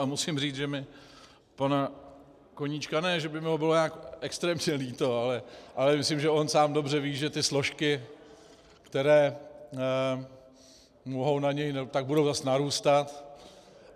A musím říct, že mi pana Koníčka - ne že by mi ho bylo nějak extrémně líto, ale myslím, že on sám dobře ví, že ty složky, které mohou na něj, tak budou zase narůstat.